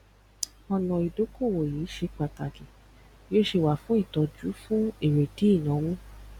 ọnà ìdókòwò yìí ṣé pàtàkì bí ó ṣe wà fún ìtọjú fún èrèdí ìnáwó